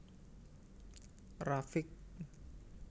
Rafiq